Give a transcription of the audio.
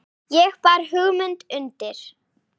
Ég bar hugmynd undir